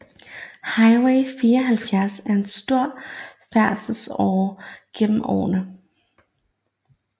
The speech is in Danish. Highway 74 er en stor færdselsåre gennem området